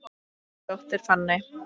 Þín dóttir, Fanney.